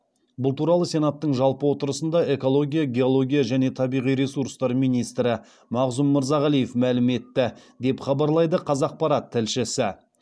бұл туралы сенаттың жалпы отырысында экология геология және табиғи ресурстар министрі мағзұм мырзағалиев мәлім етті деп хабарлайды қазақпарат тілшісі